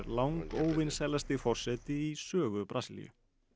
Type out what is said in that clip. langóvinsælasti forseti í sögu Brasilíu